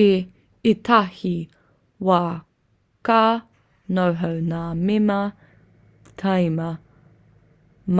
i ētahi wā ka noho ngā mema tīma